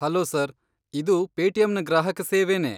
Hello sir, ಇದು ಪೇಟಿಎಮ್ನ ಗ್ರಾಹಕ ಸೇವೆನೇ.